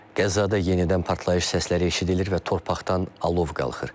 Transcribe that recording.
Qəzzada yenidən partlayış səsləri eşidilir və torpaqdan alov qalxır.